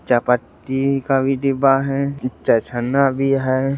चायपत्ती का भी डिब्बा है चाय छन्ना भी है।